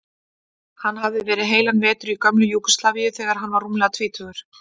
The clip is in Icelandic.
Hann hafði verið heilan vetur í gömlu Júgóslavíu þegar hann var rúmlega tvítugur.